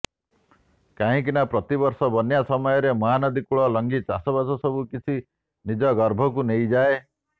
କାହିଁକିନା ପ୍ରତି ବର୍ଷ ବନ୍ୟା ସମୟରେ ମହାନଦୀ କୂଳ ଲଙ୍ଘି ଚାଷବାସ ସବୁ କିଛି ନିଜ ଗର୍ଭକୁ ନେଇଯାଏ